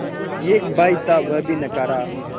एक भाई था वह भी नाकारा